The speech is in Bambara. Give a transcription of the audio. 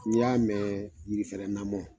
N'i y'a mɛn yirifɛrɛn namɔ.